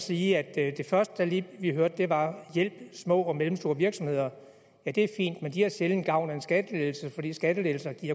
sige at det første vi hørte var hjælpe små og mellemstore virksomheder ja det er fint men de har sjældent gavn af en skattelettelse fordi skattelettelser